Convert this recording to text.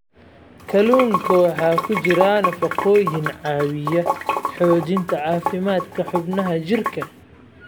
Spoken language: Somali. Kalluunka waxaa ku jira nafaqooyin caawiya xoojinta caafimaadka xubnaha jirka.